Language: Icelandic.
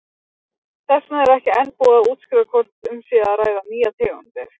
Þess vegna er ekki enn búið að úrskurða hvort um sé að ræða nýjar tegundir.